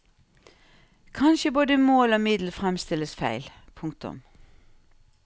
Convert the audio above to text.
Kanskje både mål og middel fremstilles feil. punktum